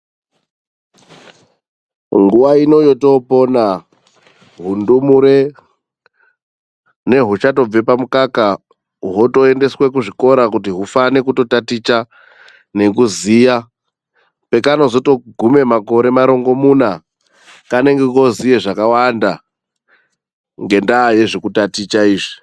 Nguwa ino yotopona hundumure nehuchatobve pamukaka ,hotoendeswe kuzvikora kuti hufane kutotaticha nekuziya. Pekanotozogume makore marongomuna kanenge koziya zvakawanda ngendaa yezvekutiticha izvi.